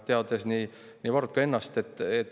Tean nii Varrot kui ka ennast.